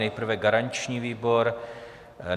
Nejprve garanční výbor.